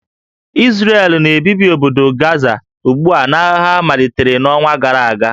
Izrel na-ebibi obodo Gaza ugbu a n'agha ha malitere n'ọnwa gara aga